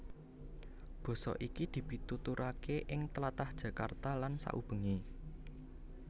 Basa iki dipituturaké ing tlatah Jakarta lan saubengé